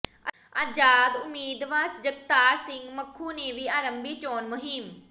ਆਜ਼ਾਦ ਉਮੀਦਵਾਰ ਜਗਤਾਰ ਸਿੰਘ ਮਖੂ ਨੇ ਵੀ ਆਰੰਭੀ ਚੋਣ ਮੁਹਿੰਮ